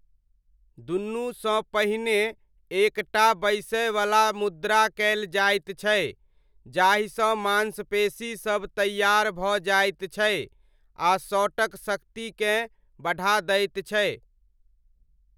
दुनूसँ पहिने एक टा बैसयवला मुद्रा कयल जाइत छै जाहिसँ माँसपेशीसब तैयार भऽ जाइत छै आ शॉटक शक्तिकेँ बढ़ा दैत छै।